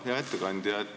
Hea ettekandja!